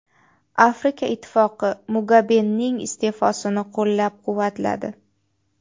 Afrika Ittifoqi Mugabening iste’fosini qo‘llab-quvvatladi.